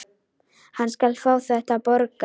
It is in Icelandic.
Hann skal fá þetta borgað!